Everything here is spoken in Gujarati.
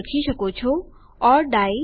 તમે લખી શકો છો ઓર ડાઇ